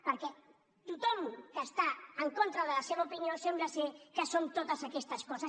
perquè tothom que està en contra de la seva opinió sembla que som totes aquestes coses